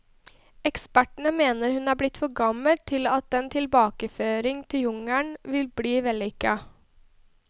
Ekspertene mener hun er blitt for gammel til at en tilbakeføring til jungelen vil bli vellykket.